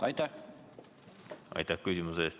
Aitäh küsimuse eest!